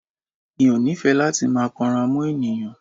Mi ò nífẹ̀ẹ́ láti máa kanra mọ́ ènìyàn.